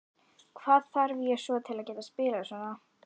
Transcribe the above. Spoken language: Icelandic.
Hvað þarf ég svo til að geta spilað svona?